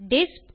டிஸ்ப்